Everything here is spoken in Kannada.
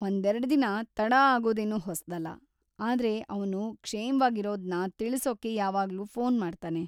ಒಂದೆರಡ್ದಿನ ತಡ ಆಗೋದೇನು ಹೊಸ್ದಲ್ಲ, ಆದ್ರೆ ಅವ್ನು ಕ್ಷೇಮ್ವಾಗಿರೋದ್ನ ತಿಳ್ಸೋಕೆ ಯಾವಾಗ್ಲೂ ಫೋನ್ ಮಾಡ್ತಾನೆ.